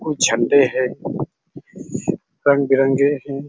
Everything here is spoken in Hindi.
को झण्डे है रंग-बिरंगे है।